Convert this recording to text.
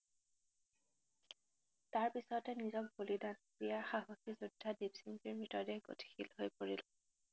তাৰ পিচতে নিজক বলিদান দিয়া সাহসি যোদ্ধা দিপসিংজীৰ মৃতদেহ গতিশীল হৈ পৰিল।